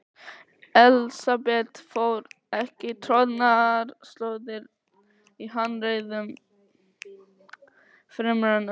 Elsabet fór ekki troðnar slóðir í hannyrðum fremur en öðru.